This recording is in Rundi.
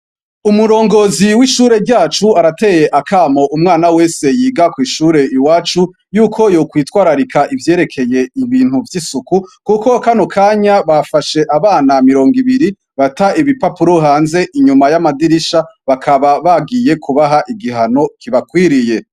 Umurongozi w'ishuri ryacu arateye akamo umwana wese yiga kw'ishure iwacu, y'uko yokwitwararika ivyerekeye ibintu vy'isuku, kuko kano kanya bafashe abana mirongo ibiri, bata ibipapuro hanze inuma y'amadirisha, bakaba bagiye kubaha igihano kibakwiriye.